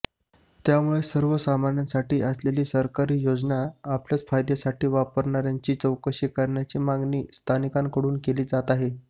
त्यामुळे सर्वसामान्यांसाठी असलेल्या सरकारी योजना आपल्याच फायद्यासाठी वापरणाऱयांची चौकशी करण्याची मागणी स्थानिकांकडून केली जात आहे